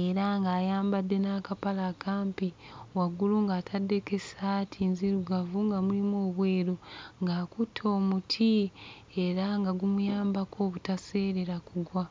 era ng'ayambadde n'akapale akampi, waggulu ng'ataddeko essaati nzirugavu nga mulimu obweru ng'akutte omuti era nga gumuyambako obutaseerera kugwa.